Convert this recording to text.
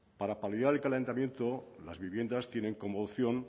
para paliar el calentamiento las viviendas tienen como opción